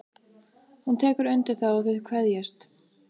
Hún tekur undir það og þau kveðjast.